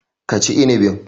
Ka ci inibin.